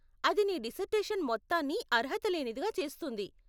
అది నీ డిసర్టేషన్ మొత్తాన్ని అర్హత లేనిదిగా చేస్తుంది.